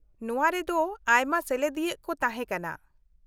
-ᱱᱚᱶᱟ ᱨᱮᱫᱚ ᱟᱭᱢᱟ ᱥᱮᱞᱮᱫᱤᱭᱟᱹᱠᱚ ᱠᱚ ᱛᱟᱦᱮᱸ ᱠᱟᱱᱟ ᱾